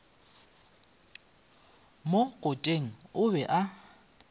mo kote o be a